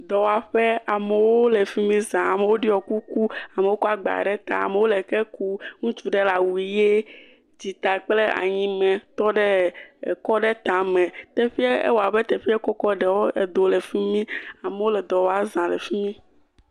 Dɔwɔƒe amewo le fi mi za, amewo ɖɔ kuku, amewo kɔ agba ɖe ta, amewo le ke kum, ŋutsu ɖe le awu ʋe dzita kple anyi me tɔ ɖe ekɔ aɖe ta me. Teƒe ewɔ abe teƒe kɔkɔ ɖewo edo le fi mi amewo le dɔ wɔm za le fi mi.